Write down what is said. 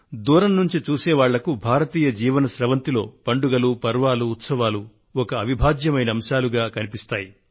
దూరం నుండి చూసే వారికి భారతీయ జీవన స్రవంతిలో పండుగలు పర్వాలు ఉత్సవాలు అవిభాజ్య అంశాలుగా కనిపిస్తాయి